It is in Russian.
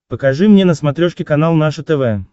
покажи мне на смотрешке канал наше тв